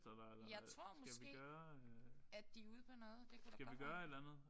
Jeg tror måske at de er ude på noget. Det kan godt være